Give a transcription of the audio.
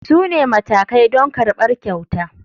Su ne matakai don karɓar kyauta.